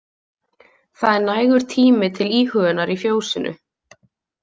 Það er nægur tími til íhugunar í fjósinu.